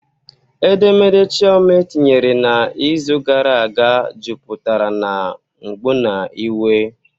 Edemede Chioma etinyere n'izu gara aga juputara na mgbu na iwe